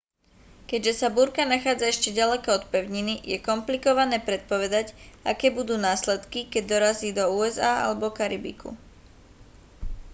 keďže sa búrka nachádza ešte ďaleko od pevniny je komplikovné predpovedať aké budú následky keď dorazí do usa alebo karibiku